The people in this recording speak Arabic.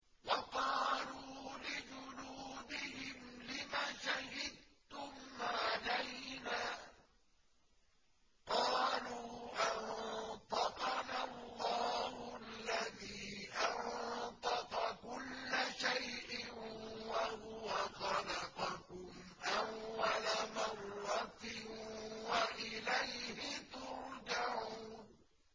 وَقَالُوا لِجُلُودِهِمْ لِمَ شَهِدتُّمْ عَلَيْنَا ۖ قَالُوا أَنطَقَنَا اللَّهُ الَّذِي أَنطَقَ كُلَّ شَيْءٍ وَهُوَ خَلَقَكُمْ أَوَّلَ مَرَّةٍ وَإِلَيْهِ تُرْجَعُونَ